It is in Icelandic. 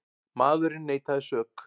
Maðurinn neitaði sök.